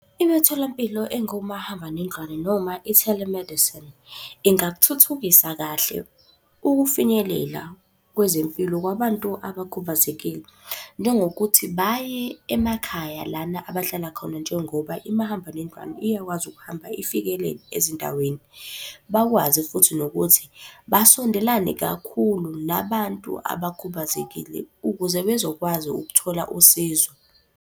Imitholampilo engomahambanendlwane noma i-telemedicine, ingakuthuthukisa kahle ukufinyelela kwezempilo kwabantu abakhubazekile, njengokuthi baye emakhaya lana abahlala khona njengoba imahambanendlwane iyakwazi ukuhamba ifikele ezindaweni. Bakwazi futhi nokuthi basondelane kakhulu nabantu abakhubazekile ukuze bezokwazi ukuthola usizo.